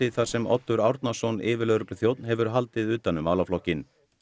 þar sem Oddur Árnason yfirlögregluþjónn hefur haldið utan um málaflokkinn